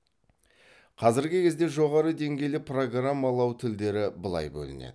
қазіргі кезде жоғары деңгейлі программалау тілдері былай бөлінеді